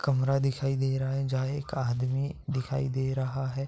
कमरा दिखाई दे रहा है जहां एक आदमी दिखाई दे रहा है।